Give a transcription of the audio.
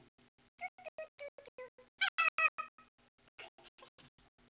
Tester en to tre fire fem seks syv otte.